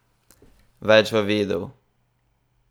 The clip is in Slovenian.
Več v videu!